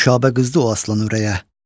Nüşabə qızdı o aslan ürəyə: